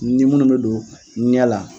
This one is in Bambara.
Ni minnu bɛ don ɲɛ la.